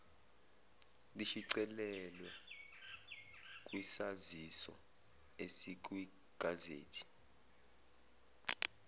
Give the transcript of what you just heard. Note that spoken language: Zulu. lishicilelwe kwisaziso esikwigazethi